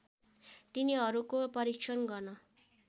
तिनीहरूको परीक्षण गर्न